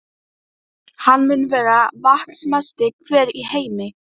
Hann mun vera vatnsmesti hver í heimi.